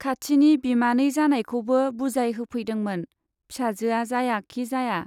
खाथिनि बिमानै जानायखौबो बुजाय होफैदोंमोन, फिसाजोआ जाया खि जाया।